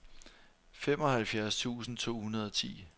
femoghalvfjerds tusind to hundrede og ti